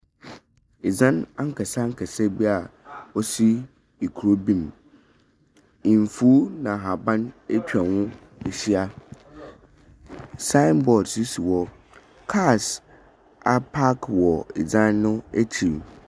Edzan akɛse akɛse bia osi ekuro bi mu, nfuw ena ahaban etwa hɔ ahyia. Sae bɔɔd so si hɔ. Kaas apaaki wɔ dzan no akyir.